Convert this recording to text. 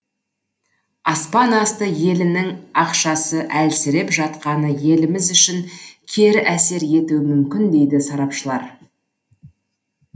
аспан асты елінің ақшасы әлсіреп жатқаны еліміз үшін кері әсер етуі мүмкін дейді сарапшылар